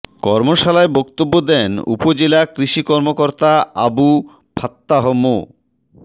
কর্মশালায় বক্তব্য দেন উপজেলা কৃষি কর্মকর্তা আবু ফাত্তাহ মো